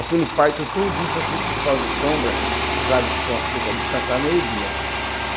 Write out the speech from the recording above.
Aquele pátio todinho só fica os paus de sombra para o gado só ficar descansado no meio-dia.